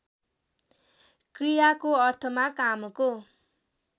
क्रियाको अर्थमा कामको